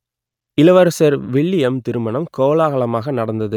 இளவரசர் வில்லியம் திருமணம் கோலாகலமாக நடந்தது